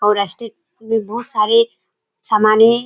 में बहुत सारे समाने --